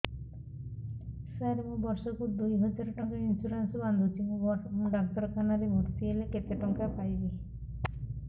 ସାର ମୁ ବର୍ଷ କୁ ଦୁଇ ହଜାର ଟଙ୍କା ଇନ୍ସୁରେନ୍ସ ବାନ୍ଧୁଛି ମୁ ଡାକ୍ତରଖାନା ରେ ଭର୍ତ୍ତିହେଲେ କେତେଟଙ୍କା ପାଇବି